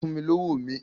Fún mi lówó mi!